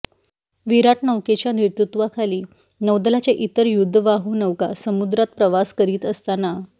विराट नौकेच्या नेतृत्वाखाली नौदलाच्या इतर युद्धवाहू नौका सुमद्रात प्रवास करीत असताना